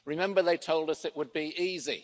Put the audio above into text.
Remember they told us it would be easy